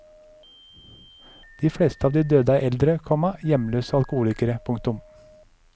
De fleste av de døde er eldre, komma hjemløse og alkoholikere. punktum